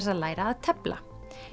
að læra að tefla